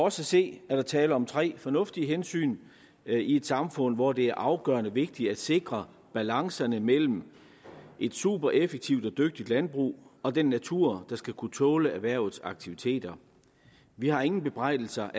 at se er der tale om tre fornuftige hensyn i et samfund hvor det er afgørende vigtigt at sikre balancerne mellem et supereffektivt og dygtigt landbrug og den natur der skal kunne tåle erhvervets aktiviteter vi har ingen bebrejdelser